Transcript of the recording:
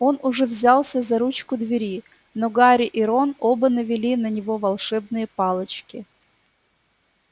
он уже взялся за ручку двери но гарри и рон оба навели на него волшебные палочки